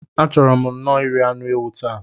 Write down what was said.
A chọrọ m nno iri anụ ewu taa.